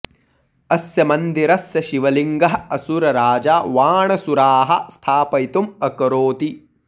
अस्य मन्दिरस्य शिव लिंगः असुर राजा वाणसुराः स्थापयितुं अकरोति